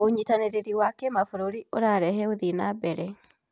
ũnyitanĩri wa kĩmabũrũri ũrarehe ũthii wa na mbere.